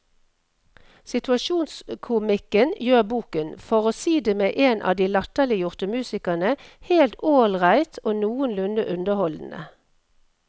Situasjonskomikken gjør boken, for å si det med en av de latterliggjorte musikerne, helt ålreit og noenlunde underholdende.